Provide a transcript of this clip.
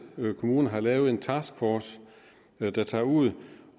kommune har lavet en taskforce der tager ud